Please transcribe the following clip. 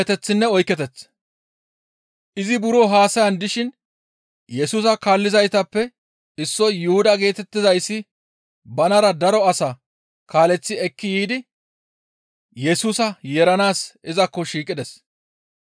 Izi buro haasayan dishin Yesusa kaallizaytappe issoy Yuhuda geetettizayssi banara daro asaa kaaleththi ekki yiidi Yesusa yeeranaas izakko shiiqides.